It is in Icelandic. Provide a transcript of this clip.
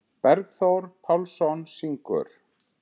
Bergþór Pálsson syngur.